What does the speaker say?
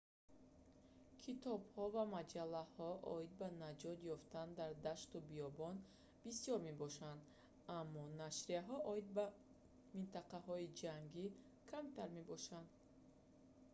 китобҳо ва маҷаллаҳо оид ба наҷот ёфтан дар дашту биёбон бисёр мебошанд аммо нашрияҳо оид ба минтақаҳои ҷангӣ камтар мебошанд